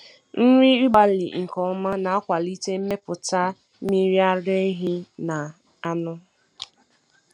Nri ịgbarị nke ọma na-akwalite mmepụta mmiri ara ehi na anụ.